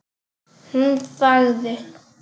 Hún þagði.